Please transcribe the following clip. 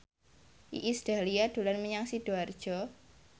Iis Dahlia dolan menyang Sidoarjo